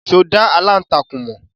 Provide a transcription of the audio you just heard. Ṣé o dá aláǹtakùn mọ̀?